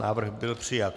Návrh byl přijat.